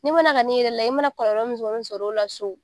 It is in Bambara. N'i ma na ka n'i yɛrɛ lajɛ, i ma na kɔlɔlɔ min kɔni sɔr'o la so